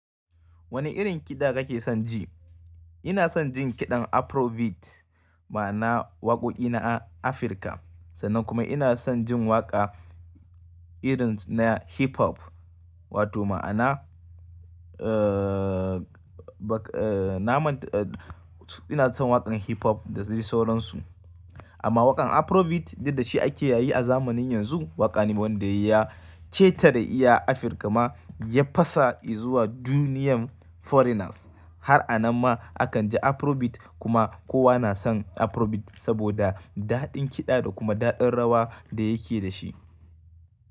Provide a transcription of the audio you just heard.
Wani rin kiɗa kake son ji? Ina son jin kiɗan Afrobeat, ma'ana waƙoƙi na Afirka. Sannan kuma ina son jin waƙa irin na hip hop. Wato ma'ana, eh, na man, ina son waƙan hip hop da sauransu. Aman wakan afrobeat duk da shi ake yayi a zamani yanxu waka ne wanda ya ketare iya Africa ma, ya fasa izuwa duniyar foreigners. Har a nan ma akan ji Afrobeats, kuma kowa na son Afrobeats saboda dadin kida da kuma dadin rawa da yake da shi.